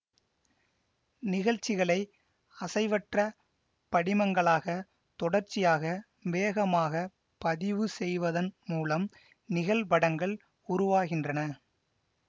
நிகழ்சிகளை அசைவற்ற படிமங்களாக தொடர்ச்சியாக வேகமாக பதிவு செய்வதன் மூலம் நிகழ்படங்கள் உருவாகின்றன